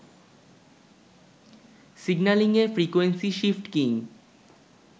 সিগন্যালিংএ frequency shift keying